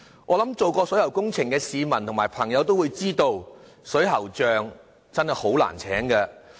我想做過水喉工程的市民和朋友也知道，水喉匠真的很難聘請。